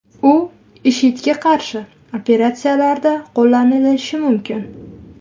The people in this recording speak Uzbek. U IShIDga qarshi operatsiyalarda qo‘llanishi mumkin.